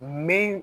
Min